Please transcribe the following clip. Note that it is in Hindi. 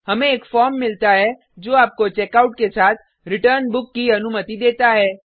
हमें एक फॉर्म मिलता है जो आपको चेकआउट के साथ रिटर्न बुक की अनुमति देता है